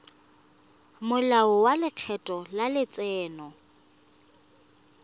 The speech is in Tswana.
molao wa lekgetho wa letseno